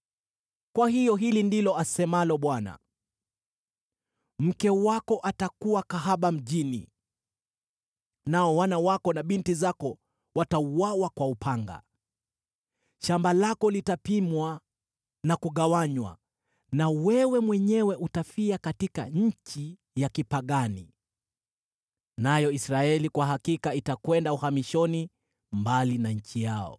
“Kwa hiyo hili ndilo asemalo Bwana :“ ‘Mke wako atakuwa kahaba mjini, nao wana wako na binti zako watauawa kwa upanga. Shamba lako litapimwa na kugawanywa, na wewe mwenyewe utafia katika nchi ya kipagani. Nayo Israeli kwa hakika itakwenda uhamishoni, mbali na nchi yao.’ ”